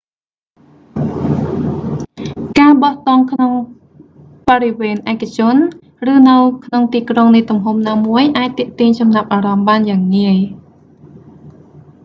ការបោះតង់ក្នុងបរិវេណឯកជន ឬនៅក្នុងទីក្រុងនៃទំហំណាមួយអាចទាក់ទាញចំណាប់អារម្មណ៍បានយ៉ាងងាយ